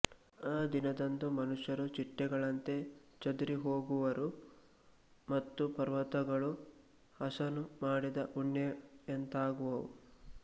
ಆ ದಿನದಂದು ಮನುಷ್ಯರು ಚಿಟ್ಟೆಗಳಂತೆ ಚದುರಿ ಹೋಗುವರು ಮತ್ತು ಪರ್ವತಗಳು ಹಸನು ಮಾಡಿದ ಉಣ್ಣೆಯಂತಾಗುವವು